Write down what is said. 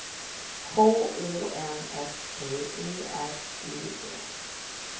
K O N S T E R U D